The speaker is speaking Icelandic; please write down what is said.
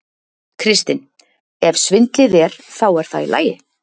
Kristinn: Ef svindlið er. þá er það í lagi?